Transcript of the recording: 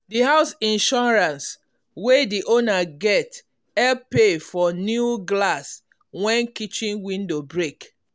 the house insurance wey the owner get the owner get help pay for new glass when kitchen window break.